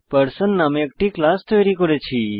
person নামের একটি class তৈরি করেছি